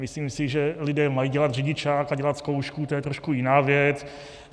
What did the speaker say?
Myslím si, že lidé mají dělat řidičák a dělat zkoušky, to je trošku jiná věc.